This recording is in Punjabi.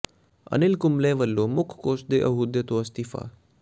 ਅਨਿਲ ਕੁੰਬਲੇ ਵੱਲੋਂ ਮੁੱਖ ਕੋਚ ਦੇ ਅਹੁਦੇ ਤੋਂ ਅਸਤੀਫ਼ਾ